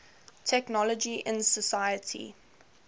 technology in society